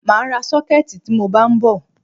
Mà á ra sọ́kẹ̀tì tí mọ bá ń bọ̀.